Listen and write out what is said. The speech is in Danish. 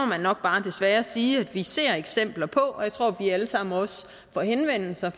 man nok bare desværre sige at vi ser eksempler på jeg tror også vi alle sammen får henvendelser